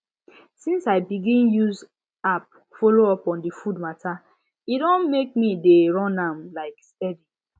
since i begin use app follow up on the food matter e don make me dey run am um steady